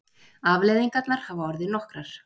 Afleiðingarnar hafa orðið nokkrar.